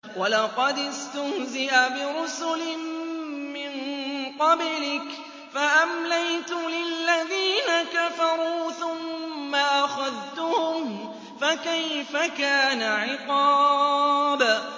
وَلَقَدِ اسْتُهْزِئَ بِرُسُلٍ مِّن قَبْلِكَ فَأَمْلَيْتُ لِلَّذِينَ كَفَرُوا ثُمَّ أَخَذْتُهُمْ ۖ فَكَيْفَ كَانَ عِقَابِ